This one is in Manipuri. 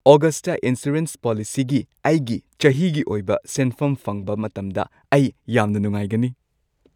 ꯑꯣꯒꯁꯠꯇ ꯏꯟꯁꯨꯔꯦꯟꯁ ꯄꯣꯂꯤꯁꯤꯒꯤ ꯑꯩꯒꯤ ꯆꯍꯤꯒꯤ ꯑꯣꯏꯕ ꯁꯦꯟꯐꯝ ꯐꯪꯕ ꯃꯇꯝꯗ ꯑꯩ ꯌꯥꯝꯅ ꯅꯨꯡꯉꯥꯏꯒꯅꯤ꯫